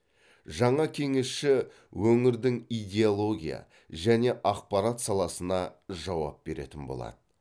жаңа кеңесші өңірдің идеология және ақпарат саласына жауап беретін болады